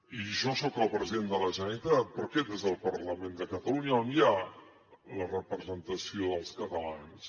i jo soc el president de la generalitat però aquest és el parlament de catalunya on hi ha la representació dels catalans